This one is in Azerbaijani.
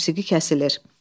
Musiqi kəsilir.